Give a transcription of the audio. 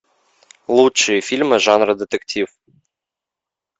лучшие фильмы жанра детектив